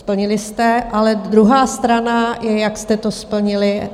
Splnili jste, ale druhá strana je, jak jste to splnili.